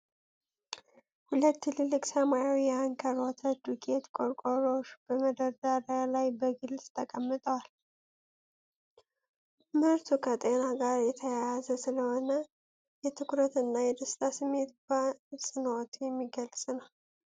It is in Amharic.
ሁለት ትልልቅ ሰማያዊ የአንከር ወተት ዱቄት ቆርቆሮዎች በመደርደሪያ ላይ በግልጽ ተቀምጠዋል። ምርቱ ከጤና ጋር የተያያዘ ስለሆነ የትኩረት እና የደስታ ስሜት በአጽንዖት የሚገለጽ ነው።